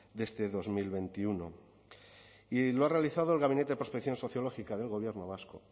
de este dos mil veintiuno y lo ha realizado el gabinete de prospección sociológica del gobierno vasco